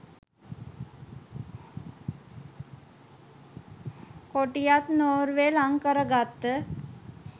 කොටියත් Norway ලං කර ගත්ත